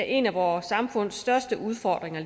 en af vores samfunds største udfordringer